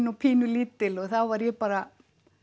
og pínulítil og þá var ég bara